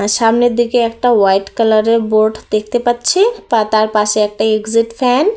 সামনের দিকে একটা হোয়াইট কালার এর বোর্ড দেখতে পাচ্ছি পা তার পাশে একটা এক্সিট ফ্যান ।